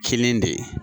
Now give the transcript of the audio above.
Kinin de ye